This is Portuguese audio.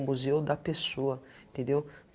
O Museu da Pessoa, entendeu?